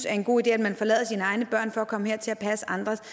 er en god idé at man forlader sine egne børn for at komme hertil og passe andres det